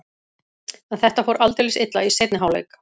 En þetta fór aldeilis illa í seinni hálfleik.